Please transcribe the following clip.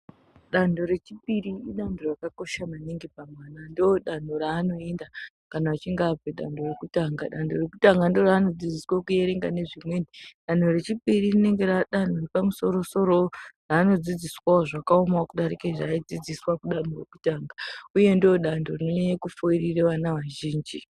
Dando re chipiri idando raka kosha maningi pa mwana ndo danho ra anoenda kana achinge abve dando rekutanga dando rekutanga ndo raano dzidziswe ku erenga ne zvimweni danho re chipiri rinenge ra danho repa musoro soro raano dzidziswawo zvaka omawo kudarike zva ayi dzidziswa ku danho rekutanga uye ndo dando rine furirana va zhinji.